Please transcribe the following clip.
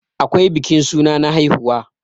akwai bikin suna na haihuwa